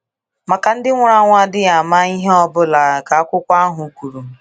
Maka Ndị nwụrụ anwụ adịghị ama ihe ọ bụla ,ka akwụkwo ahụ kwuru